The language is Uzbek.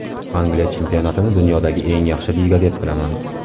Angliya chempionatini dunyodagi eng yaxshi liga deb bilaman.